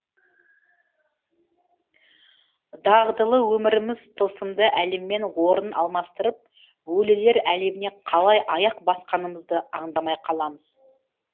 дағдылы өміріміз тылсымды әлеммен орын алмастырып өлілер әлеміне қалай аяқ басқанымызды аңдамай қаламыз